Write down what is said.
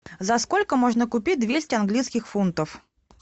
за сколько можно купить двести английских фунтов